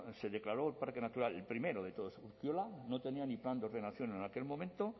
se declaró el parque natural el primero de todos urkiola no tenía ni plan de ordenación en aquel momento